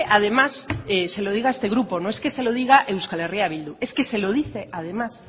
además se lo diga este grupo no es que se lo diga euskal herria bildu es que se lo dice además